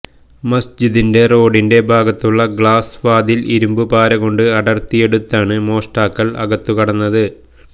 മസ്ജിദിന്റെ റോഡിന്റെ ഭാഗത്തുള്ള ഗ്ലാസ് വാതില് ഇരുമ്പുപാരകൊണ്ട് അടര്ത്തിയെടുത്താണ് മോഷ്ടാക്കള് അകത്തുകടന്നത്